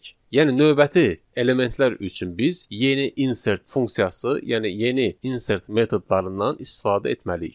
Yəni növbəti elementlər üçün biz yeni insert funksiyası, yəni yeni insert metodlarından istifadə etməliyik.